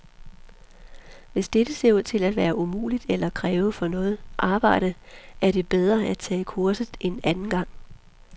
Hvis dette ser ud til at være umuligt eller kræve for meget arbejde, er det bedre at tage kurset en anden gang.